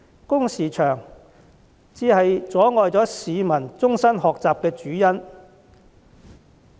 工時過長，才是阻礙市民終身學習的主因。